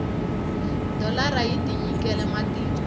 dholara yi tinyikele matimba